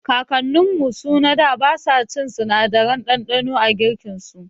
Kakanninmu suna basa cin sinadarin ɗanɗano a girkinau